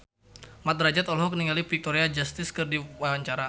Mat Drajat olohok ningali Victoria Justice keur diwawancara